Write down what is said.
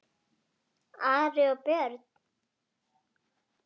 Ari og Björn!